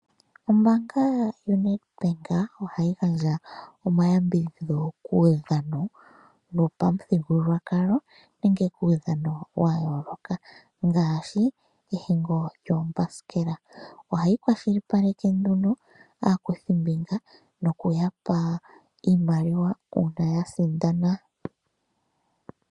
Ombaanga yoNedbank ohayi gandja omayambidhidho kuudhano wopamuthigululwakalo nenge kuudhano wa yooloka ngaashi ehingo lyoombaskela ohayi kwashilipaleka nduno aakuthimbinga nokuyapa iimaliwa uuna ya sindana.